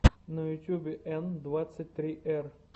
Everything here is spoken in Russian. на ютубе н двадцать три р